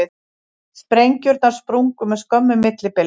Sprengjurnar sprungu með skömmu millibili